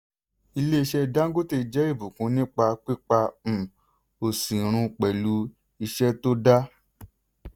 ilé-iṣẹ́ dangote jẹ́ ìbùkún nípa pípa um òṣì run pẹ̀lú iṣẹ́ tó dá.